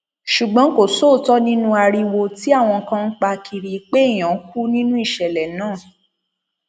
ṣùgbọn kò sóòótọ nínú ariwo tí àwọn kan ń pa kiri pé èèyàn kú nínú ìṣẹlẹ náà